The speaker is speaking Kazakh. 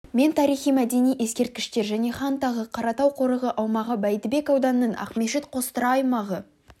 мен тарихи мәдени ескерткіштер және хан тағы қаратау қорығы аумағы бәйдібек ауданының ақмешіт қостұра аймағы